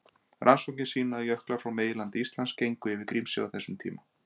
Rannsóknir sýna að jöklar frá meginlandi Íslands gengu yfir Grímsey á þessum tíma.